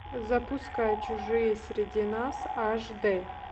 запускай чужие среди нас аш дэ